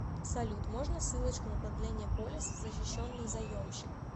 салют можно ссылочку на продление полиса защищенный заемщик